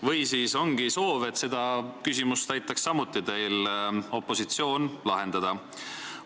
Või äkki ongi soov, et ka seda küsimust aitaks teil opositsioon lahendada?